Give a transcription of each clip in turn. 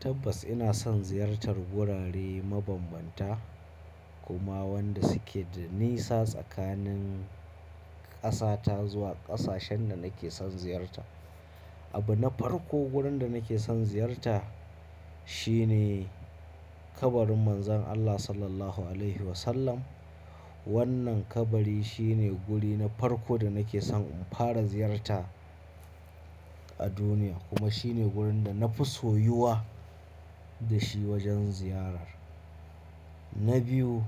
Tabbas ina son ziyartar gurare mabanbanta kuma wanda suke da nisa tsakanin ƙasa ta zuwa ƙasashen da nake son ziyarta. Abu na farko wurin da nake son ziyarta shine kabarin Manzon Allah Sallallahu Alaihi Wasallam. Wannan kabari shine guri na farko da nake son in fara ziyarta a duniya kuma shine wurin da na fi soyuwa da shi wajen ziyara. Na biyu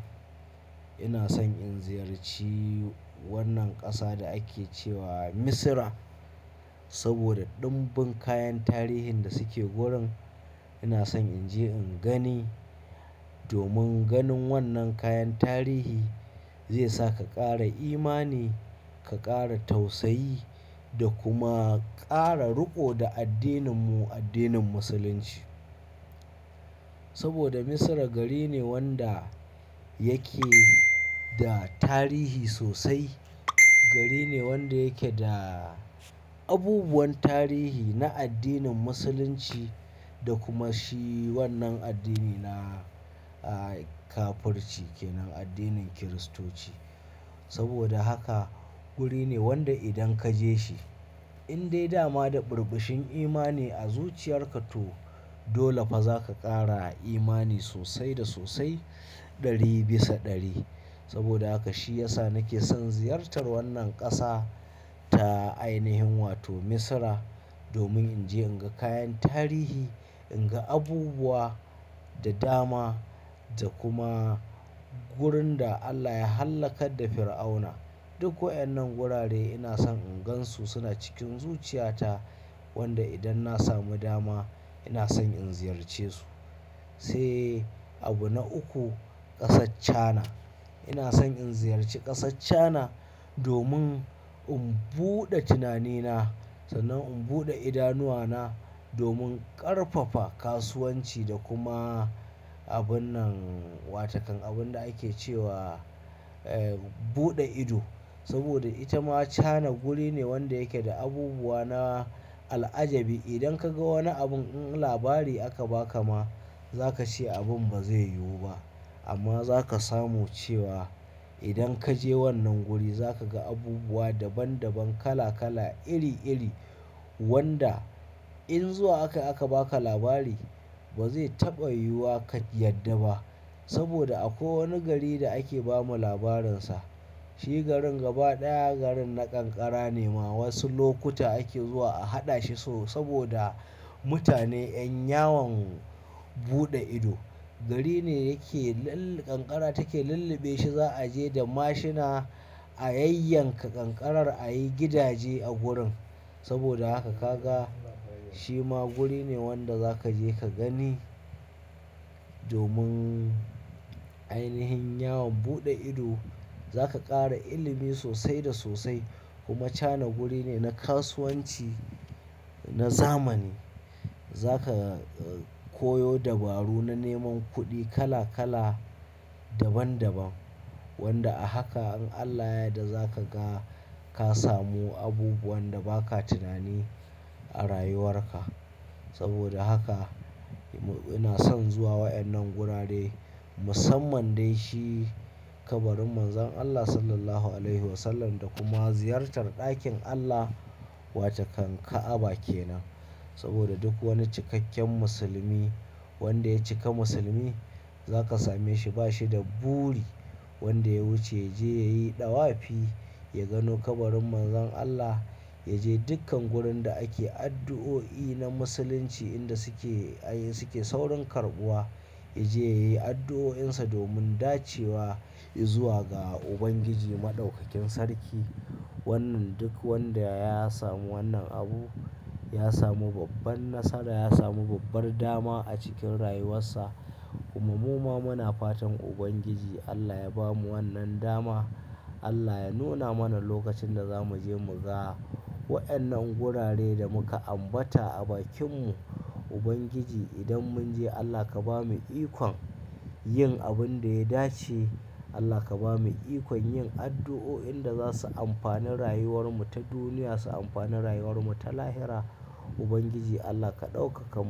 ina son in ziyarci wannan ƙasa da ake cewa Misira saboda ɗimbin kayan tarihin da suke wurin. Ina son in je in gani domin ganin wannan kayan tarihi zai saka ƙara imani ka ƙara tausayi da kuma ƙara riko da addininmu addinin Musulunci. Saboda Misira gari ne wanda yake da tarihi sosai. Gari ne wanda yake da abubuwan tarihi na addinin Musulunci da kuma shi wannan addini na aaa kafirci kenan addinin Kiristoci. Saboda haka guri ne wanda idan ka je shi in dai dama da birbishin imani a zuciyar ka to dole fa za ka ƙara imani sosai da sosai ɗari bisa ɗari. Saboda haka shi ya sa nake son ziyartar wannan ƙasa ta ainihin wato Misira domin in je in ga kayan tarihi, in ga abubuwa da dama da kuma wurin da Allah ya hallakar da Fir'auna. Duk wa'yannan gurare ina son in gansu suna cikin zuciya ta wanda idan na samu dama ina son in ziyarce su. Sai abu na uku ƙasar china ina son in ziyarci ƙasar Chana domin in buɗe tunanina sannan in buɗe idanuwana domin ƙarfafa kasuwanci da kuma abun nan wa takan abun da ake cewa eh buɗe ido. Saboda ita ma Cana guri ne wanda yake da abubuwa na al'ajabi. Idan kaga wani abin in labari aka baka ma za ka ce abin ba zai yiwu ba amma za ka samu cewa idan ka je wannan guri za ka ga abubuwa daban daban kala kala iri iri wanda in zuwa akai aka baka labari ba zai taɓa yiwuwa ka yadda ba. Saboda a kwai wani gari da ake bamu labarin sa shi garin gaba ɗaya garin na kankara ne ma wasu lokuta ake zuwa a haɗa shi so saboda mutane yan yawon buɗe ido. Gari ne yake lalle kankara take lulluɓe shi za a je da mashina a yayyanka kankarar a yi gidaje a gurin. Saboda haka ka ga shi ma guri ne wanda za ka je ka gani domin ainihin yawon buɗe ido. Za ka ƙara ilimi sosai da sosai kuma Chana guri ne na kasuwanci na zamani. Za ka koyo dabaru na neman kuɗi kala kala daban daban wanda a haka in Allah ya yarda za ka ga ka samu abubuwan da ba ka tunani a rayuwar ka. Saboda haka ina son zuwa wa'annan gurare musamman dai shi kabarin Manzon Allah Sallallahu Alaihi Wasallam da kuma ziyartar ɗakin Allah wa takan Ka'aba kenan. Saboda duk wani cikakken musulmi wanda ya cika musulmi za ka same shi ba shi da buri wanda ya wuce ya je ya yi ɗawafi ya gano kabarin Manzon Allah yaje dukkan gurin da ake addu'o'i na musulunci inda suke ayy suke saurin karɓuwa ya je ya yi addu'o'insa domin dacewa izuwa ga Ubangiji Maɗaukakin sarki. Wannan duk wanda ya samu wannan abu ya samu babban nasara ya samu babbar dama a cikin rayuwarsa kuma mu ma muna fatan Ubangiji Allah ya bamu wannan dama Allah ya nuna mana lokacin da za mu je mu ga wa'annan gurare da muka ambata a bakin mu Ubangiji idan mun je Allah ka bamu ikon yin abun da ya dace Allah ka bamu ikon yin addu'o'in da za su amfani rayuwar mu ta duniya su amfani rayuwar mu ta lahira Ubangiji Allah ka ɗaukaka mu.